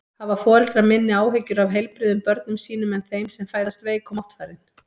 Hafa foreldrar minni áhyggjur af heilbrigðum börnum sínum en þeim sem fæðast veik og máttfarin?